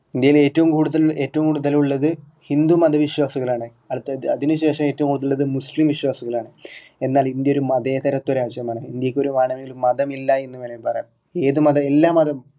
ഇന്ത്യയിൽ ഏറ്റവും കൂടുതൽ ഏറ്റവും കൂടുതൽ ഉള്ളത് ഹിന്ദു മത വിശ്വാസികൾ ആണ് അടിത്ത അതിനുശേഷം ഏറ്റവും കൂടുതൽ ഉള്ളത് മുസ്‌ലിം വിശ്വാസികൾ ആണ് എന്നാൽ ഇന്ത്യ ഒരു മതേതരത്വ രാജ്യമാണ് ഇന്ത്യയ്ക്ക് വേണമെങ്കിൽ ഒരു മതം ഇല്ലാ എന്ന് വേണെമെങ്കിൽ പറയാം